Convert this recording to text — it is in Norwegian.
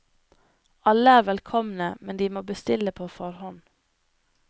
Alle er velkomne, men de må bestille på forhånd.